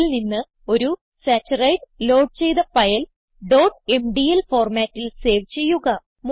GChemPaintൽ നിന്ന് ഒരു സച്ചറിടെ ലോഡ് ചെയ്ത് ഫയൽ mdl formatൽ സേവ് ചെയ്യുക